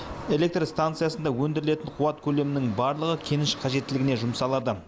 электр станциясында өндірілетін қуат көлемінің барлығы кеніш қажеттілігіне жұмсалады